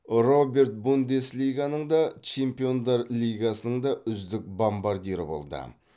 роберт бундеслиганың да чемпиондар лигасының да үздік бомбардирі болды